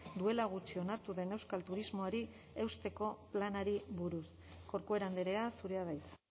duela gutxi onartu den euskal turismoari eusteko planari buruz corcuera andrea zurea da hitza